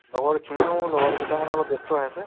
লগৰখিনিও লগৰকেইটাও মানে অলপ ব্যস্ত হৈ আছে